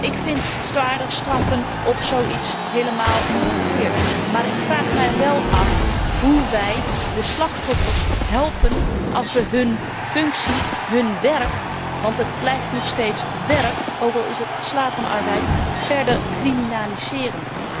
Ik vind zwaardere straffen voor zoiets helemaal niet verkeerd, maar ik vraag mij wel af hoe wij de slachtoffers helpen als we hun functie, hun werk want het blijft nog steeds werk ook al is het slavenarbeid verder criminaliseren.